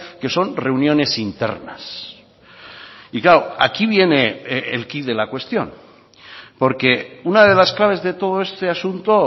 que son reuniones internas y claro aquí viene el quid de la cuestión porque una de las claves de todo este asunto